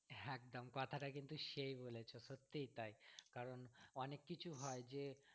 একদম কথাটা কিন্তু সেই বলেছো সত্যিই তাই কারণ অনেক কিছু হয় যে